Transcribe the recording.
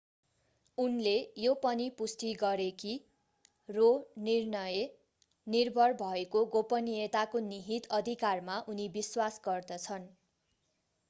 उनले यो पनि पुष्टि गरे कि रो निर्णय निर्भर भएको गोपनीयताको निहित अधिकारमा उनी विश्वास गर्दछन्